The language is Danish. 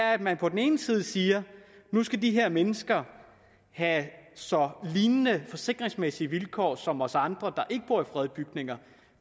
er at man på den ene side siger at nu skal de her mennesker have så lignende forsikringsmæssige vilkår som os andre der ikke bor i fredede bygninger